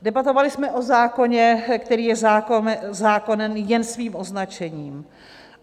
Debatovali jsme o zákoně, který je zákonem jen svým označením.